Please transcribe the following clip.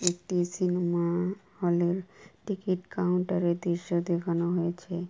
একটি cinema hall -এর ticket counter -এর দৃশ্য দেখানো হয়েছে।